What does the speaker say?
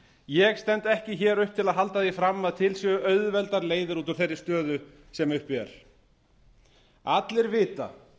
ég stend ekki hér upp til að halda því fram að til séu auðveldar leiðir út úr þeirri stöðu sem uppi er allir vita að